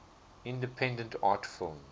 independent art films